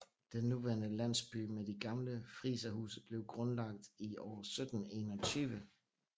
Den nuværende landsby med de gamle friserhuse blev grunlagt år 1721